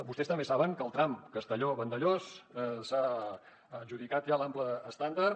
vostès també saben que al tram castelló vandellòs s’ha adjudicat ja l’ample estàndard